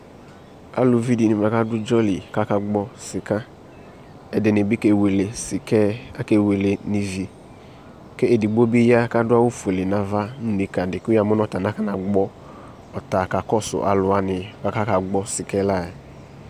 Avuvi de ne bua ka do idzɔ li ka akaa gbɔ slka Ɛde ne ne ke wele sika ɛɛ Ake wele no ivi Ke edigbo be ya ka do awu fuele nava no nika de ko ya mo ɔta nakɔna gbɔ, ɔta ka kɔsu alu wa ne ko aka gbɔ sikɛ la yɛ